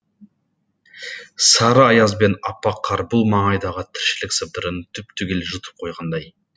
сары аяз бен аппақ қар бұл маңайдағы тіршілік сыбдырын түп түгел жұтып қойғандай